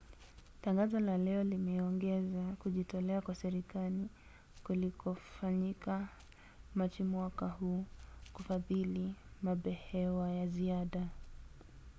tangazo la leo limeongeza kujitolea kwa serikali kulikofanyika machi mwaka huu kufadhili mabehewa ya ziada